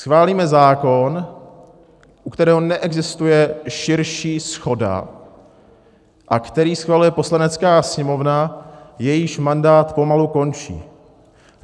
Schválíme zákon, u kterého neexistuje širší shoda a který schvaluje Poslanecká sněmovna, jejíž mandát pomalu končí.